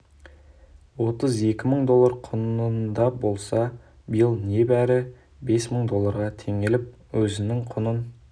отыз екі мың доллар құнында болса биыл небәрі он бес мың долларға теңеліп өзінің құнын